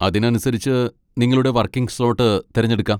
അതിനനുസരിച്ച് നിങ്ങളുടെ working slot തിരഞ്ഞെടുക്കാം.